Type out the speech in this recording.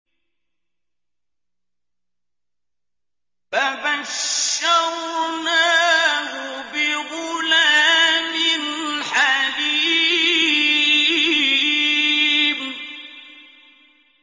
فَبَشَّرْنَاهُ بِغُلَامٍ حَلِيمٍ